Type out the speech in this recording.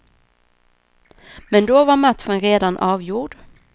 Men då var matchen redan avgjord.